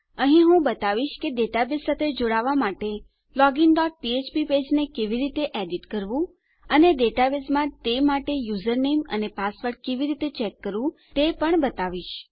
અહીં હું તમને બતાવીશ કે ડેટાબેઝ સાથે જોડવા માટે લોગિન ડોટ ફ્ફ્પ પેજને કેવી રીતે એડિટ કરવું અને ડેટાબેઝમાં તે માટે યુઝર નેમ અને પાસવર્ડ કેવી રીતે ચેક કરવું તે પણ બતાવીશ